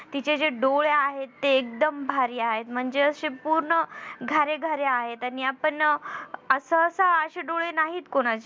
तिचे जे डोळे आहेत ते एकदम भारी आहेत म्हणजे अशे पूर्ण घारेघारे आहेत आणि आपण असं असं अशे डोळे नाहीत कोणाचे